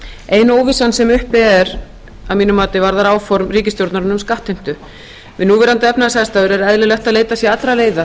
ein óvissan sem uppi er að mínu mati varðar áform ríkisstjórnarinnar um skattheimtu við núverandi efnahagsaðstæður er eðlilegt að leitað sé allra leiða